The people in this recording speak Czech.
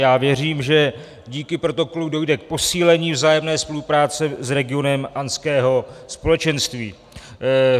Já věřím, že díky protokolu dojde k posílení vzájemné spolupráce s regionem Andského společenství.